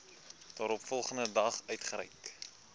daaropvolgende dag uitgereik